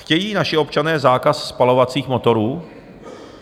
Chtějí naši občané zákaz spalovacích motorů?